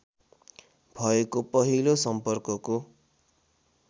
भएको पहिलो सम्पर्कको